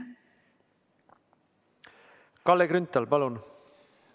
Kalle Grünthal, palun!